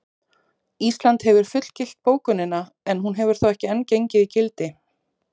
Ísland hefur fullgilt bókunina en hún hefur þó ekki enn gengið í gildi.